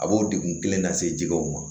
A b'o degun kelen lase jɛgɛw ma